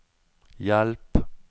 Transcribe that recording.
hjelp